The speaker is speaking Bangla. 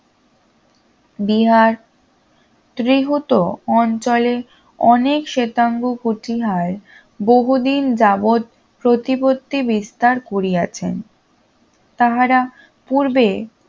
বিহার ত্রিহুত অঞ্চলে অনেক শ্বেতাঙ্গ কতিহায় বহুদিন যাবত প্রতিপত্তি বিস্তার করিয়াছেন তাহারা পূর্বে